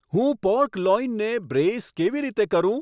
હું પોર્ક લોઈનને બ્રેઈસ કેવી રીતે કરું